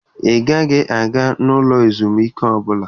Ị gaghị aga n'ụlọ ezumike ọbụla!